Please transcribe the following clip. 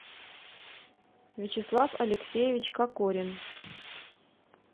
вячеслав алексеевич кокорин